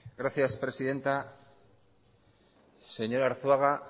gracias presidenta señora arzuaga